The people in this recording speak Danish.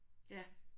Ja